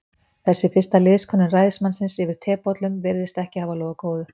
Þessi fyrsta liðskönnun ræðismannsins yfir tebollum virðist ekki hafa lofað góðu.